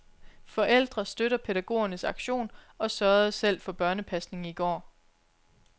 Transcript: Forældre støtter pædagogernes aktion og sørgede selv for børnepasning i går.